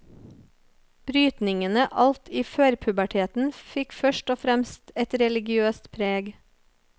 Brytningene alt i førpuberteten fikk først og fremst et religiøst preg.